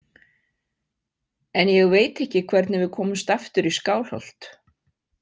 En ég veit ekki hvernig við komumst aftur í Skálholt.